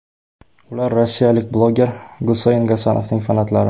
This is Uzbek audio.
Ular rossiyalik bloger Guseyn Gasanovning fanatlari.